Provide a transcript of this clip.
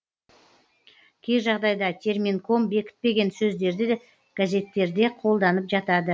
кей жағдайда терминком бекітпеген сөздерді газеттерде қолданып жатады